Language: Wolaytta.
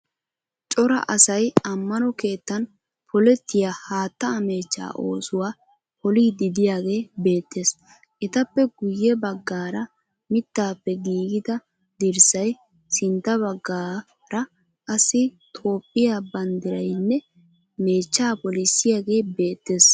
Cora asay ammano keettan polettiya haattaa meechchaa oosuwa poliiddi de'iyagee beettes. Etappe guyye baggaara miittaappe giigida dirssayi, sintta baggaara qassi Toophphiya banddirayinne meechchaa polissiyagee beettees.